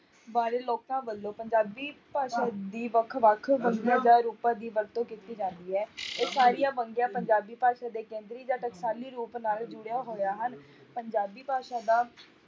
ਬਾਰੇ ਲੋਕਾਂ ਵੱਲੋਂ ਪੰਜਾਬੀ ਭਾਸ਼ਾ ਦੀ ਵੱਖ ਵੱਖ ਰੂਪਾਂ ਦੀ ਵਰਤੋਂ ਕੀਤੀ ਜਾਂਦੀ ਹੈ ਇਹ ਸਾਰੀਆਂ ਵੰਨਗੀਆਂ ਪੰਜਾਬੀ ਭਾਸ਼ਾ ਦੇ ਕੇਂਦਰੀ ਜਾਂ ਟਕਸ਼ਾਲੀ ਰੂਪ ਨਾਲ ਜੁੜਿਆ ਹੋਇਆ ਹਨ, ਪੰਜਾਬੀ ਭਾਸ਼ਾ ਦਾ